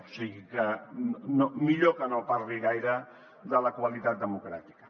o sigui que millor que no parli gaire de la qualitat democràtica